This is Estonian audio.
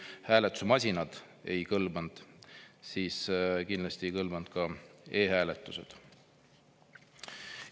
Kui isegi hääletusmasinad ei kõlvanud, siis kindlasti ei kõlvanud ka e-hääletus.